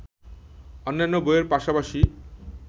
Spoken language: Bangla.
অন্যান্য বইয়ের পাশাপাশি